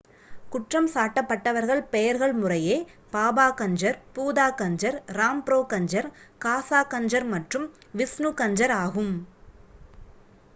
குற்றம் சாட்டப்பட்டவர்கள் பெயர்கள் முறையே பாபா கஞ்சர் பூதா கஞ்சர் ராம்ப்ரோ கஞ்சர் காசா கஞ்சர் மற்றும் விஷ்ணு கஞ்சர் ஆகும்